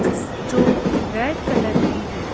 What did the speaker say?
जिस जो red colour की है।